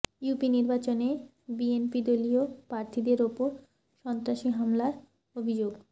UP নির্বাচনে BNP দলীয় প্রার্থীদের ওপর সন্ত্রাসী হামলার অভিযোগ